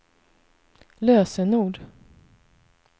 lösenord